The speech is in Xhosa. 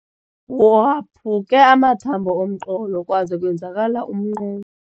Waphuke amathambo omqolo kwaze kwenzakala umnqonqo.